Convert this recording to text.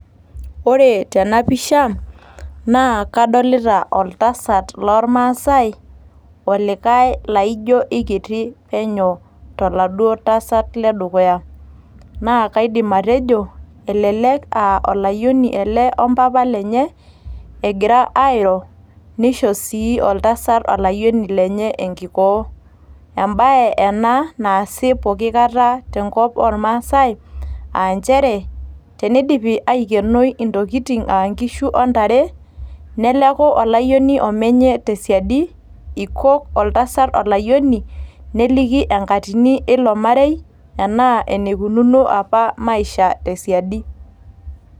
Ore tena pisha, naa kadolita oltasat loormasai olikae laijio kekitie toladuo tasat ledukuya, naa kaidim atejo olayioni ele ompapa lenye egira airo, neisho sii oltasat aloyioni lenye enkikoo. Ebae ena naasi pooki Kata tenkop ormasae, aa nchere tenidipi aikenoi Intokitin aa Enkishu ontare neleku olayioni omenye tesiadi eikok oltasat olayioni, neliki enkatini eilo marei enaa eneikununo apa Maisha tesiadi.